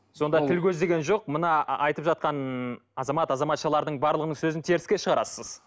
сонда тіл көз деген жоқ мына айтып жатқан азамат азаматшалардың барлығының сөзін теріске шығарасыз